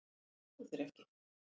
Ég trúi þér ekki